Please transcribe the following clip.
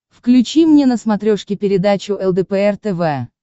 включи мне на смотрешке передачу лдпр тв